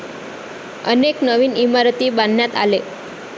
अनेक नवीन इमारती बांधण्यात आले.